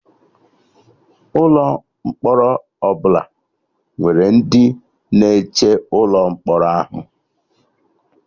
Ụlọ mkpọrọ ọbụla nwere ndị na-eche ụlọ mkpọrọ ahụ